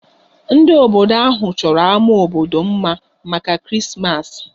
Ndị obodo ahụ chọrọ ámá obodo mma maka Krismas